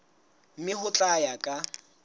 mme ho tla ya ka